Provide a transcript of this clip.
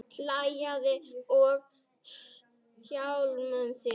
Hlæja að sjálfum sér.